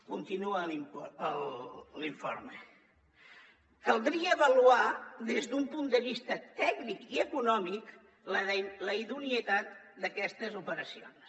continua l’informe caldria avaluar des d’un punt de vista tècnic i econòmic la idoneïtat d’aquestes operacions